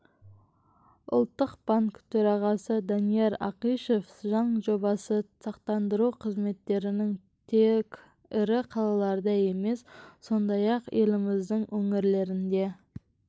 ұлттық банк төрағасы данияр ақышев заң жобасы сақтандыру қызметтерінің тек ірі қалаларда емес сондай-ақ еліміздің өңірлерінде